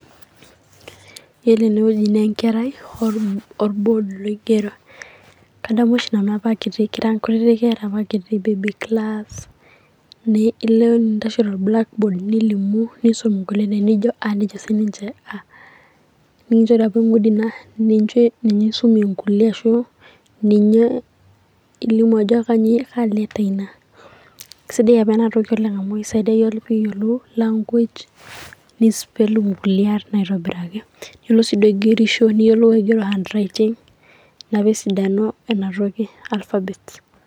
Yielo ene wueji naa Enkerai orbod oigero. Kadamu oshi Nanu kit kira enkutiti Kera apa kitii Baby class ilo nintashe tolbulakbod nintashe nilimu engulie naa enijo ',A' nejo sininche 'A' nikinchori apa eng'udi naa ninye esumie engulie ashuu elimu ajo kaa letter Ina. Kesidai apa Ina toki amu keisaidia iyiok matayiolo language nispel engulie arn aitobiraki. Ore sii duo egerisho niyiolou aigero enharaiting' Ina pee esidanu Ina toki alfabet.